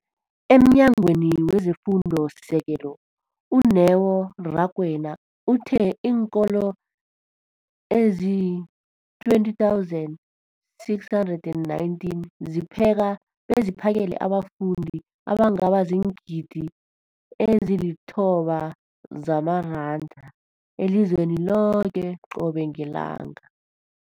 EmNyangweni wezeFundo esiSekelo, u-Neo Rakwena, uthe iinkolo ezi-20 619 zipheka beziphakele abafundi abangaba ziingidi ezili-9 zamaranda elizweni loke qobe ngelanga.